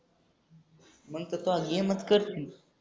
मंग त यह काम मत करो तुने